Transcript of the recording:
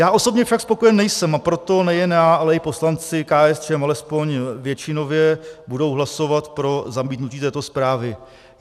Já osobně však spokojen nejsem, a proto nejen já, ale i poslanci KSČM, alespoň většinově, budou hlasovat pro zamítnutí této zprávy.